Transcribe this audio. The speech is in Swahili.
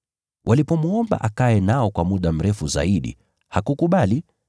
Walipomwomba akae nao kwa muda mrefu zaidi hakukubali.